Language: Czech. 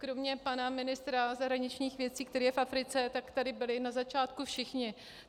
Kromě pana ministra zahraničních věcí, který je v Africe, tak tady byli na začátku všichni.